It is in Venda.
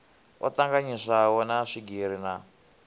o tanganyiswaho na swigiri na